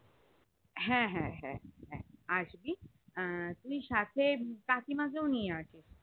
হ্যাঁ হ্যাঁ হ্যাঁ হ্যাঁ আর কি তুই সাথে কাকিমাকেও নিয়েএসবি